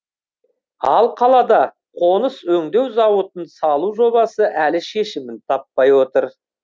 ал қалада қоныс өңдеу зауытын салу жобасы әлі шешімін таппай отыр